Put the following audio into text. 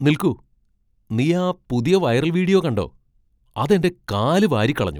നിൽക്കൂ, നീ ആ പുതിയ വൈറൽ വീഡിയോ കണ്ടോ? അത് എന്റെ കാലു വാരിക്കളഞ്ഞു.